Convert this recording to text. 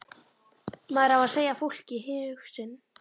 Maður á að segja fólki hug sinn.